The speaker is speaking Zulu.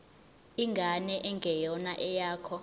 ingane engeyona eyakho